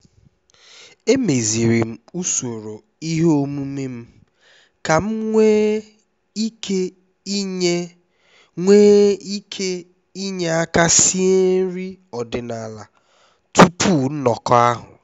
emeziri m usoro ihe omume m ka m nwee ike inye nwee ike inye aka sie nri ọdịnala tupu nnọkọ ahụ